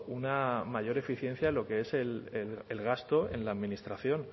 una mayor eficiencia de lo que es el gasto en la administración